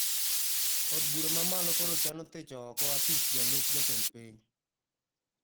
Od bura mamalo koro chano thicho oko apis jalup jatend piny